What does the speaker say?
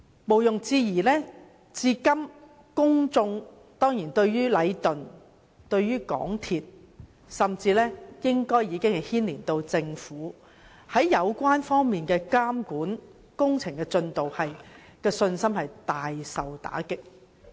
毋庸置疑，如今公眾對禮頓建築有限公司、港鐵公司甚至政府在監管工程方面的信心，以至對工程進度的信心，已大受打擊。